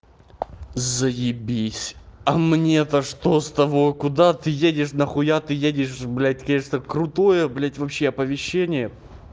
заебись а мне-то что с того куда ты едешь нахуя ты едешь блядь конечно крутое блядь вообще оповещение